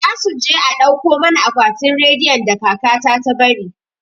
Za su je a dauko mana akwatin rediyon da kaka ta ta bari